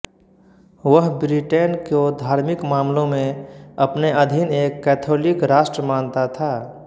वह ब्रिटेन को धार्मिक मामलों में अपने अधीन एक कैथोलिक राष्ट्र मानता था